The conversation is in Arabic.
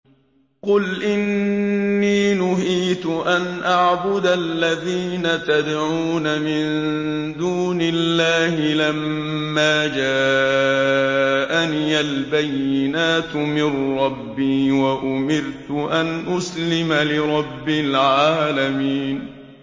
۞ قُلْ إِنِّي نُهِيتُ أَنْ أَعْبُدَ الَّذِينَ تَدْعُونَ مِن دُونِ اللَّهِ لَمَّا جَاءَنِيَ الْبَيِّنَاتُ مِن رَّبِّي وَأُمِرْتُ أَنْ أُسْلِمَ لِرَبِّ الْعَالَمِينَ